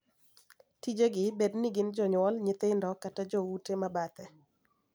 Tije gi, bed ni gin jonyuol, nyithindo, kata jo ute ma bathe,